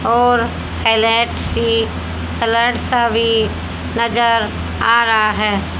और अलग से कलर सभी नजर आ रहा है।